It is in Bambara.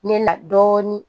Ne na dɔɔnin